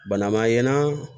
Bana ma ɲana